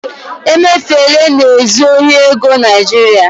emefele na-ezu ohi ego nigeria